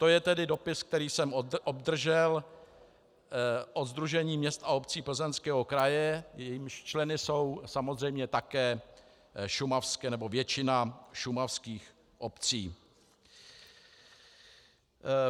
To je tedy dopis, který jsem obdržel od Sdružení měst a obcí Plzeňského kraje, jejímiž členy jsou samozřejmě také šumavské, nebo většina šumavských obcí.